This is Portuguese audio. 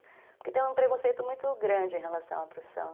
Porque tem um preconceito muito grande em relação à profissão.